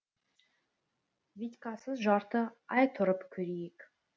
витькасыз жарты ай тұрып көрейік